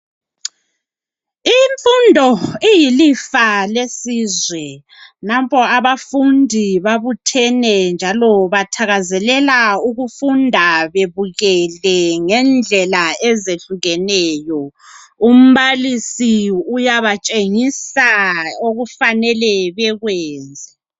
Imfundo iyilifa lesizwe nampoke abafundi babuthene njalo bathakazelela bebukele ngendlela ezehlukeneyo umbalisi uyabatshengusa okufanele bekwenze.